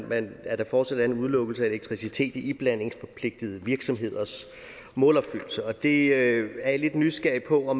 med at der fortsat er en udelukkelse af elektricitet i iblandingsforpligtede virksomheders målopfyldelse det er jeg lidt nysgerrig på